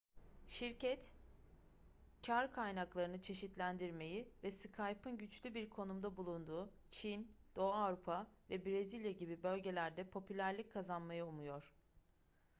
şirket kar kaynaklarını çeşitlendirmeyi ve skype'ın güçlü bir konumda bulunduğu çin doğu avrupa ve brezilya gibi bölgelerde popülerlik kazanmayı umuyor